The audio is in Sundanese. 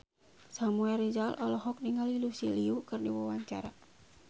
Samuel Rizal olohok ningali Lucy Liu keur diwawancara